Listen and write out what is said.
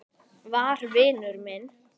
var vinur minn.